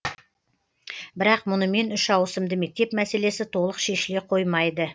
бірақ мұнымен үш ауысымды мектеп мәселесі толық шешіле қоймайды